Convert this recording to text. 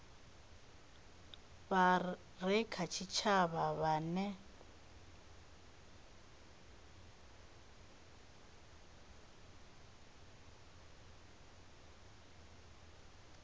vha re kha tshitshavha vhane